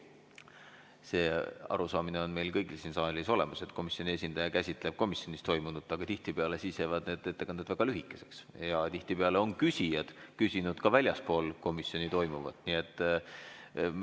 See arusaamine on meil kõigil siin saalis olemas, et komisjoni esindaja käsitleb komisjonis toimunut, aga tihtipeale jäävad need ettekanded väga lühikeseks ja tihtipeale on küsijad küsinud ka väljaspool komisjoni toimuva kohta.